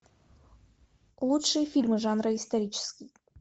лучшие фильмы жанра исторический